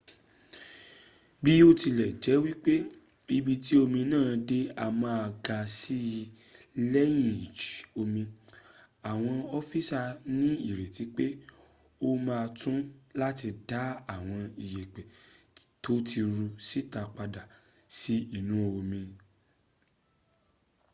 biotilejepe ibi ti omi naa de a maa ga si leyin iji omi awon ofisa ni ireti pe o ma to lati da awon iyepe to ti ru sita pada si inu omi